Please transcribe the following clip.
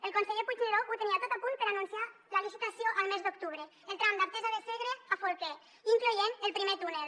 el conseller puigneró ho tenia tot a punt per anunciar la licitació el mes d’octubre el tram d’artesa de segre a folquer incloent el primer túnel